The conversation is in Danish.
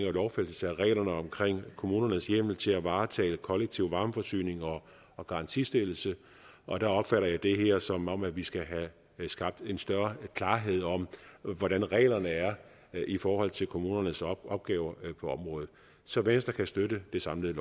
en lovfæstelse af reglerne om kommunernes hjemmel til at varetage kollektiv varmeforsyning og garantistillelse og der opfatter jeg det her som om vi skal have skabt en større klarhed om hvordan reglerne er i forhold til kommunernes opgaver på området så venstre kan støtte det samlede